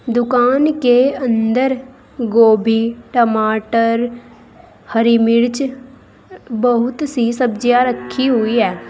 दुकान के अंदर गोभी टमाटर हरी मिर्च बहुत सी सब्जियां रखी हुई हैं।